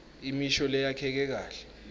imisho leyakheke kahle